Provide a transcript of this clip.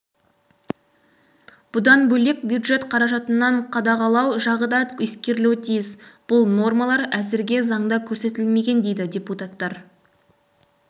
бұдан бөлек бюджет қаражатын қадағалу жағы да ескерілуі тиіс бұл нормалар әзірге заңда көрсетілмеген дейді депутаттар